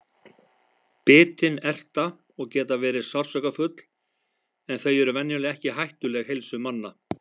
Bitin erta og geta verið sársaukafull en þau eru venjulega ekki hættuleg heilsu manna.